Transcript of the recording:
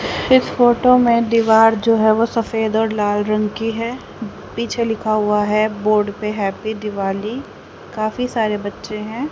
इस फोटो में दीवार जो है वह सफेद और लाल रंग की है पीछे लिखा हुआ है बोर्ड पे हैप्पी दिवाली काफी सारे बच्चे हैं।